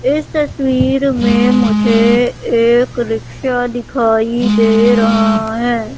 इस तस्वीर में मुझे एक रिक्शा दिखाई दे रहा है।